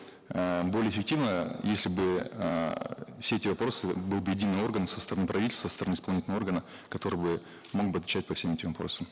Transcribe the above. эээ более эффективно если бы эээ все эти вопросы был бы единый орган со стороны правительства со стороны исполнительного органа который бы мог бы отвечать по всем этим вопросам